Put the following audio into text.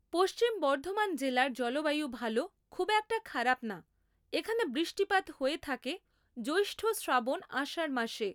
পশ্চিমবর্ধমান জেলার জলবায়ু ভালো খুব একটা খারাপ না এখানে বৃষ্টিপাত হয়ে থাকে জ্যৈষ্ঠ শ্রাবণ আষাঢ় মাসে